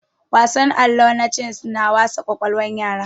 Wasan allo na ces na wasa kwakwalwan yara